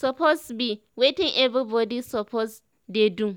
suppose bi wetin everybody suppose dey do